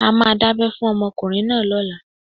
A máa dábẹ́ fún ọmọkùnrin náà lọ́la.